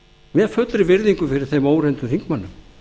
með fullri virðingu fyrir þeim óreyndu þingmönnum